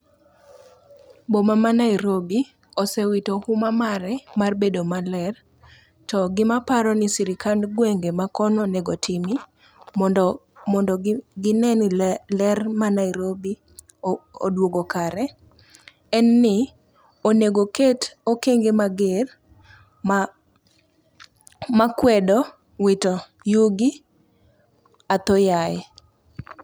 Boma ma Nairobi osewito huma mare mar bedo maler. To gima aparo ni sirikand gwenge makono onego timi, mondo gine ni ler ma Nairobi odwogo kare, en ni onego oket okenge mager makwedo wito yugi athoyaye.